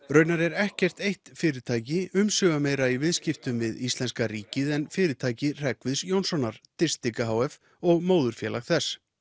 raunar er ekkert eitt fyrirtæki umsvifameira í viðskiptum við íslenska ríkið en fyrirtæki Hreggviðs Jónssonar Distica h f og móðurfélag þess